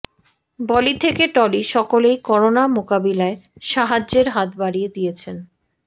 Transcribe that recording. বলি থেকে টলি সকলেই করোনা মোকাবিলায় সাহায্যের হাত বাড়িয়ে দিয়েছেন